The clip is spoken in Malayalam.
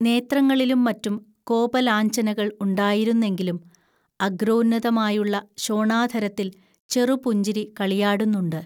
നേത്രങ്ങളിലും മറ്റും കോപലാഞ്ഛനകൾ ഉണ്ടായിരുന്നെങ്കിലും അഗ്രോന്നതമായുള്ള ശോണാധരത്തിൽ ചെറുപുഞ്ചിരി കളിയാടുന്നുണ്ട്